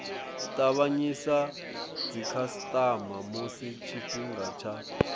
tavhanyisa dzikhasitama musi tshifhinga tsha